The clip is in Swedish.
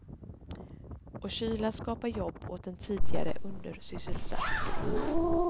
Och kylan skapar jobb åt en tidigare undersysselsatt grupp.